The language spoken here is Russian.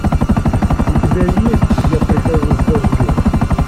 у тебя есть я прихожу с дождем